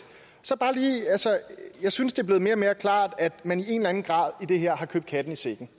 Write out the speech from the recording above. jeg synes det bliver mere og mere klart at man i en eller anden grad har købt katten i sækken